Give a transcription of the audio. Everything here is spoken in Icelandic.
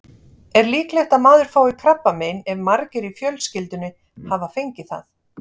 Er líklegt að maður fái krabbamein ef margir í fjölskyldunni hafa fengið það?